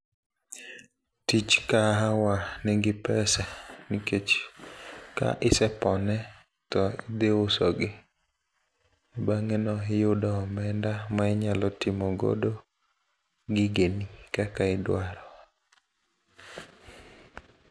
Tich kahawa nigi pesa nikech ka isepone to idhi usogi. Bang'eno iyudo omenda mainyalo timo godo gigeni kaka idwaro.